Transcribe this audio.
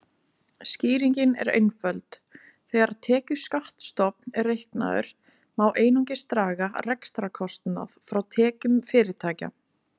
Skýringin er einföld: Þegar tekjuskattsstofn er reiknaður má einungis draga rekstrarkostnað frá tekjum fyrirtækja.